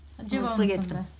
жеп алыңыз онда